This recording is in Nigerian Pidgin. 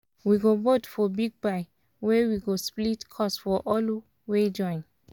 we go vote for big buy weh we go split cost for all wey join.